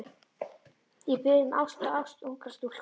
Ég bið um ást, ást ungrar stúlku.